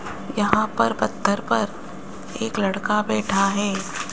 यहां पर पत्थर पर एक लड़का बैठा है।